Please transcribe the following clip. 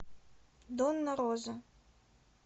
донна роза